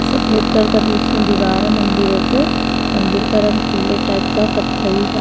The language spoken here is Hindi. सफेद कलर का बीच में दीवार है मंदिरों के मंदिर का रंग पीले टाइप का कत्थई है।